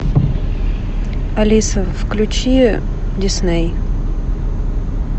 алиса включи дисней